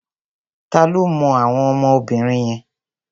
Ta ló mọ àwọn ọmọ obìnrin yẹn?